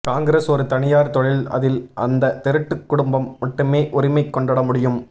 காங்கிரஸ் ஒரு தனியார் தொழில் அதில் அந்த திருட்டு குடும்பம் மட்டுமே உரிமை கொண்டாட முடியும்